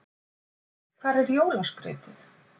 Hvar er jólaskrautið?